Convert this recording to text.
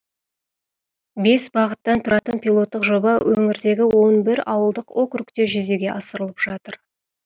бес бағыттан тұратын пилоттық жоба өңірдегі он бір ауылдық округте жүзеге асырылып жатыр